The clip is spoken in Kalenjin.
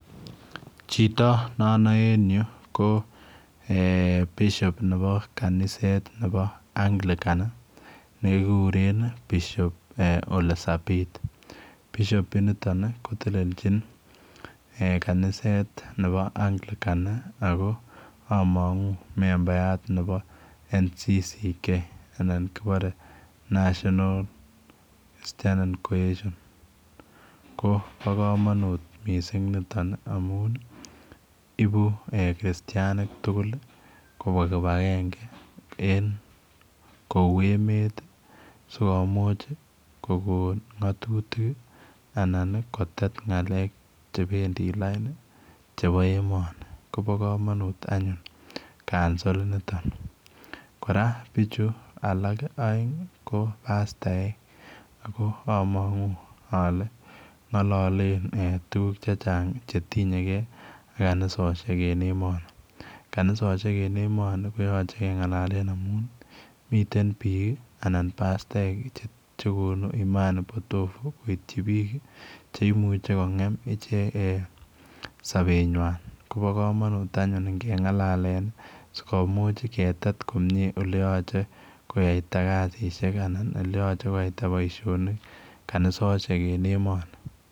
Chito ne anan en ko [bishop] nebo Anglican church of Kenya nekiguren [bishop] ole sapiit [bishop] initoon koteleljiin kaniset nebo Anglican ako meat nebo [national church councilor of kenya ] ko bo kamanut missing nitoon ii amuun ibuu u kristianik tugul kobwaa kibangengei en kou emet ii sikomuuch kogoon ngatutiik ii anan ii kotet ngaleek chebendii lain ii chebo emani kobaa kamanut any ciuncol ini bichuu alaak a eng ii ko pastaek ako amangu ale ngaleek tuguk che chaang che tinyei gei ako kanisosiek en emani kanisosiek en emani ko ya gei kengalalen amuun mitten biik ii anan pastaek chekonuu Imani potovu koityii biik cheimuichei ko ngem ichegeet eeh saber nywaany kobaa kamanut anyuun ingengalakeen sikomuuch kotet komyei ole yachei kiyaitaa kesisiet anan ele yachei kiyaitaa boisionik kanisosiek en emani.